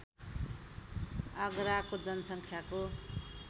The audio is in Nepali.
आगराको जनसङ्ख्याको